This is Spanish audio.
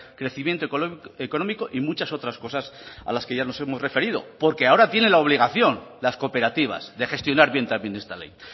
crecimiento económico y muchas otras cosas a las que ya nos hemos referido porque ahora tienen la obligación las cooperativas de gestionar bien también esta ley